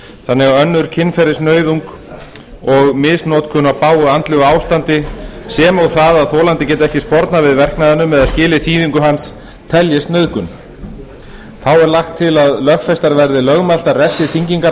þannig að önnur kynferðisnauðung og misnotkun á bágu andlegu ástandi sem og það að þolandi geti ekki spornað við verknaðinum eða skilið þýðingu hans teljist nauðgun þá er lagt til að lögfestar verði lögmæltar refsiþyngingarástæður